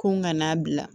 Ko n kana bila